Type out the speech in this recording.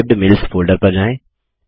saved mails folder पर जाएँ